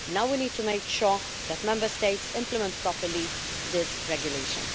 now we need to make sure that Member States implement properly this regulation.